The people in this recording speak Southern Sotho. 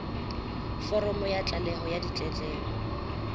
foromo ya tlaleho ya ditletlebo